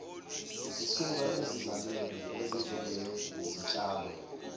zisuka esizalweni ezinjengezitshalo